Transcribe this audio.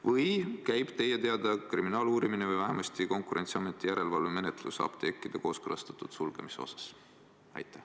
Või käib teie teada kriminaaluurimine või vähemasti Konkurentsiameti järelevalvemenetlus apteekide kooskõlastatud sulgemise asjus?